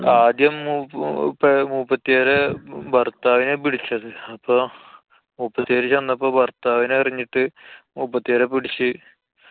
ആദ്യം മൂ~ പ്പ~ മൂപ്പത്ത്യാരെ ഭര്‍ത്താവിനെയാ പിടിച്ചത്. അപ്പൊ മൂപ്പത്ത്യാര് ചെന്നപ്പോ ഭര്‍ത്താവിനെ എറിഞ്ഞിട്ട് മൂപ്പത്ത്യാരെ പിടിച്ച്